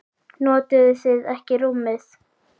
Notuðuð þið ekki rúmið?